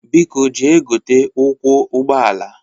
Biko jee gote ụkwụ ụgbọala!